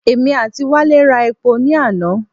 Èmi àti Wálé ra epo ní àná.